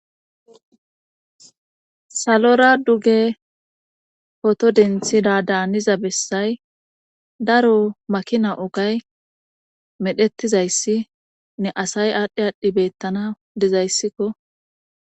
salora duge poto denthida daaniza bessay daro makina ogay medhettizayssi ne asay aadhdhi aadhdhi bettana dizayssikko